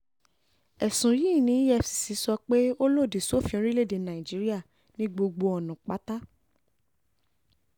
ẹ̀sùn yìí ni efccso pé ó lòdì sófin orílẹ̀‐èdè nàíjíríà ní gbogbo ọ̀nà pátá